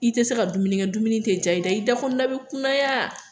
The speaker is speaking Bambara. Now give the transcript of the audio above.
I tɛ se ka dumuni kɛ dumuni tɛ diya i da i dakɔnɔna bɛ kunaya